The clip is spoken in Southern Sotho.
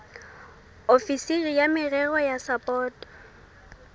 ofisiri ya merero ya sapoto